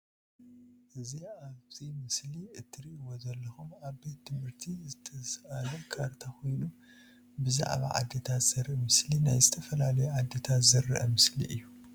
እ ዚ ኣብ እዚ ምስሊ ትርእዎ ዘለኩም ኣብ ቤት ትምህርት ቤት ዝተሳኣለ ካርታ ኮይኑ ብዝዓባ ዓዲታት ዘርኢ ምስሊ ናይ ዝተፋላለዩ ዓዲታት ዝርእ ምስሊ እዩ።